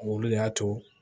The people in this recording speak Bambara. Olu de y'a to